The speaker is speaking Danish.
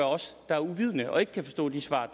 os der er uvidende og ikke kan forstå de svar